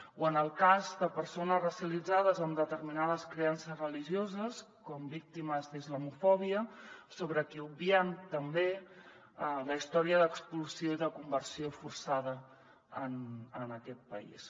o en el cas de persones racialitzades amb determinades creences religioses com víctimes d’islamofòbia sobre qui obviem també la història d’expulsió i de conversió forçada en aquest país